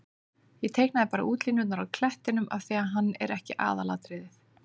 Ég teiknaði bara útlínurnar á klettinum af því að hann er ekki aðalatriðið.